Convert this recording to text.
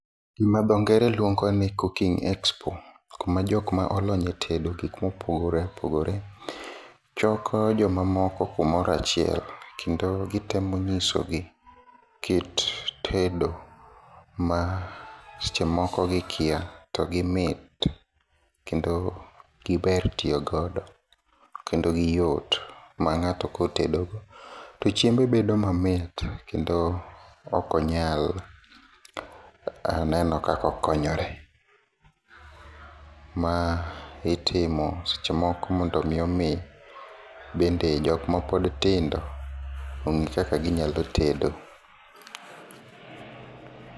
Gima dho ngere luongoni cooking expo kumajokma olony e tedo gikma opogore opogore choko jomamoko kumoro nachiel, kendo gitemo nyisogi kit tedo masechemoko gikia to gimit kendo giber tiyo godo kendo giyot mang'ato kotedo to chiembe bedo mamit, kendo okonyal neno kako okonyore. Ma itimo sechemoko mondo omi omi bende jokmapod tindo ong'e kaka ginyalo tedo.